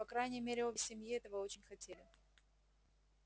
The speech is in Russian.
по крайней мере обе семьи этого очень хотели